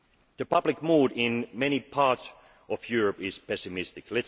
The public mood in many parts of Europe is pessimistic.